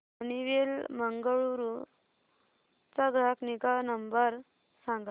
Honeywell Bengaluru चा ग्राहक निगा नंबर सांगा